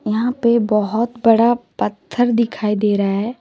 यहां पे बहुत बड़ा पत्थर दिखाई दे रहा हैं।